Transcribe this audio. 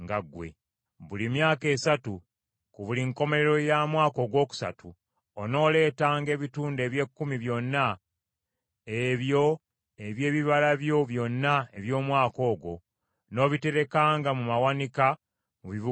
Buli myaka esatu, ku buli nkomerero ya mwaka ogwokusatu, onooleetanga ebitundu eby’ekkumi byonna ebyo eby’ebibala byo byonna eby’omwaka ogwo, n’obiterekanga mu mawanika mu bibuga byo.